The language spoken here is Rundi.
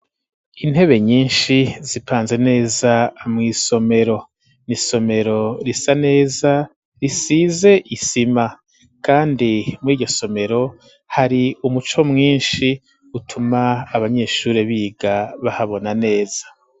Intebe nyinshi, zipanze neza, mw'isomero; ni isomero risa neza, risize isima; kandi muri iryo somero, hari umuco mwinshi, utuma abanyeshure, biga bahabona neza.